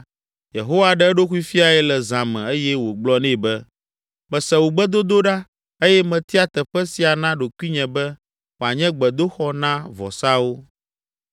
Yehowa ɖe eɖokui fiae le zã me eye wògblɔ nɛ be, “Mese wò gbedodoɖa eye metia teƒe sia na ɖokuinye be wòanye gbedoxɔ na vɔsawo.